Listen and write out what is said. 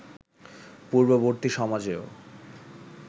পূর্ববর্তী সমাজেও